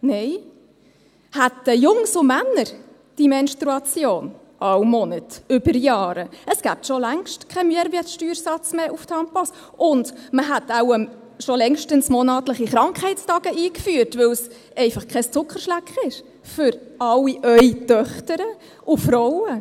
Nein! Hätten Jungs und Männer die Menstruation, jeden Monat, über Jahre, gäbe es schon längst keinen Mehrwertsteuersatz mehr auf Tampons, und man hätte wohl schon längst monatliche Krankheitstage eingeführt, weil es einfach kein Zuckerschlecken ist – für alle Ihre Töchter und Frauen.